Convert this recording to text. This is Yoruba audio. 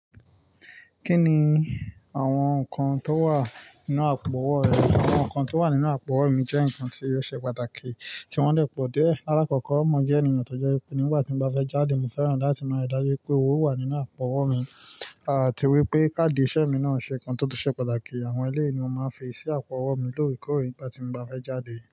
Kí ni àwọn nǹkan tó wà nínú àpò-ọwọ́ rẹ? Àwọn nǹkan tó wà nínú àpò-ọwọ́ mi jẹ́ nǹkan tí yóò ṣe pàtàkì tí wọ́n le pọ̀ dé. Alákọ̀ọ́kọ́, mo jẹ́ ènìyàn tó jẹ́ ipò. Nígbà tí mo bá fẹ́ jáde, mo fẹ́ràn láti mọ ìdájú pé owó wà nínú àpò-ọwọ́ mi, àti wípé káàdì ìṣe mi náà ṣe nǹkan tó tó ṣe pàtàkì. Àwọn eléyìí ni mo máa ń fi sí àpò-ọwọ́ mi lóore ìkóree nígbà tí mo bá fẹ́ jáde.